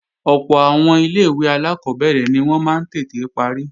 Ọ̀pọ̀ àwọn ilé-ìwé alákọ́bẹ̀rẹ̀ ni wọ́n máa ń tètè parí